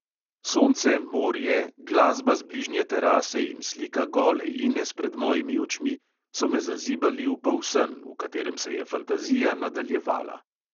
Sonce, morje, glasba z bližnje terase in slika gole ines pred mojimi očmi so me zazibali v polsen, v katerem se je fantazija nadaljevala.